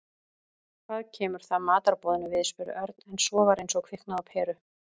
Hvað kemur það matarboðinu við? spurði Örn en svo var eins og kviknaði á peru.